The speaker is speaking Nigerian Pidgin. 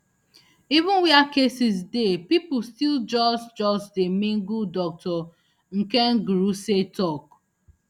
even wia cases dey pipo still just just dey mingle dr nkengurutse tok